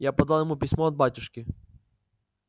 я подал ему письмо от батюшки